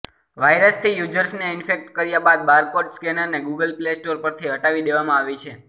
વાયરસથી યૂઝર્સને ઇન્ફેક્ટ કર્યા બાદ બારકોડ સ્કેનરને ગૂગલ પ્લે સ્ટોર પરથી હટાવી દેવામાં આવી છે